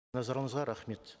назарыңызға рахмет